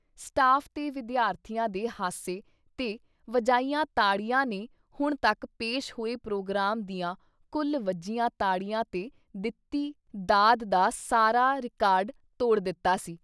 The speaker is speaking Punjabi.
ਸਟਾਫ਼ ਤੇ ਵਿਦਿਆਰਥੀਆਂ ਦੇ ਹਾਸੇ ਤੇ ਵਜਾਈਆਂ ਤਾੜੀਆਂ ਨੇ ਹੁਣ ਤੱਕ ਪੇਸ਼ ਹੋਏ ਪ੍ਰੋਗਰਾਮ ਦੀਆਂ ਕੁੱਲ ਵੱਜੀਆਂ ਤਾੜੀਆਂ ਤੇ ਦਿੱਤੀ ਦਾਦ ਦਾ ਸਾਰਾ ਰਿਕਾਰਡ ਤੋੜ ਦਿੱਤਾ ਸੀ।